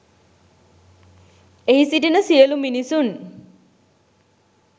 එහි සිටින සියලු මිනිසුන්